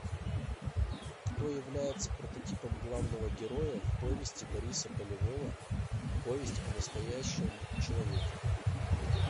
кто является прототипом главного героя в повести бориса полевого повесть о настоящем человеке